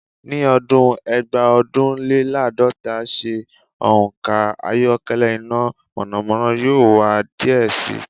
Ni ọdun Eegbaodunlelaadota se ọn ọkọ ayọkẹlẹ ina mọnamọna yoo wa diẹ sii